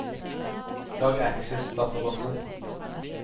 lag Access-database